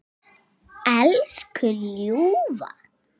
Elsku ljúfa.